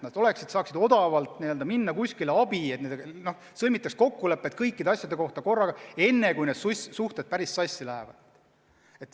Nad peaksid siis kusagilt saama odavalt abi, nii et nendega sõlmitaks kokkulepped kõikide asjade kohta korraga, enne kui suhted päris sassi lähevad.